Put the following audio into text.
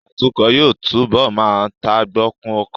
Atukọ̀ yóò túbọ̀ má tagbokun ọkọ